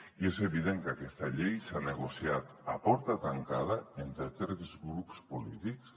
i és evident que aquesta llei s’ha negociat a porta tancada entre tres grups polítics